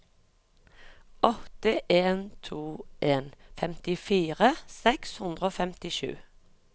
åtte en to en femtifire seks hundre og femtisju